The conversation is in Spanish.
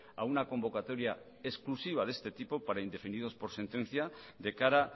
a una convocatoria exclusiva de este tipo para indefinidos por sentencia de cara